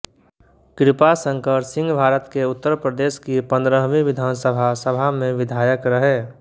कृपा शंकर सिंहभारत के उत्तर प्रदेश की पंद्रहवी विधानसभा सभा में विधायक रहे